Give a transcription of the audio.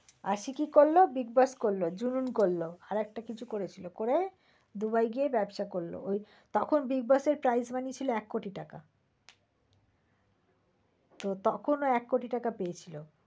আশিকি করল, bigboss করল, জুনুন করল আর একটা কিছু করেছিল করে দুবাই গিয়ে ব্যবসা করল। ওই তখন bigboss এর price money ছিল এক হাজার কোটি টাকা। তখন ও এক কোটি টাকা পেয়েছিল।